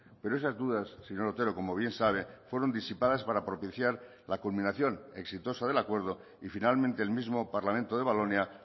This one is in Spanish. pero esas dudas señor otero como bien sabe fueron disipadas para propiciar la culminación exitosa del acuerdo y finalmente el mismo parlamento de valonia